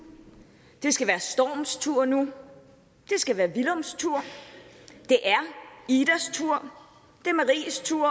det skal være storms tur nu det skal være villums tur det er idas tur det er maries tur